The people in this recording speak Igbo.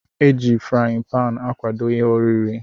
Eji frain pan akwado ihe oriri.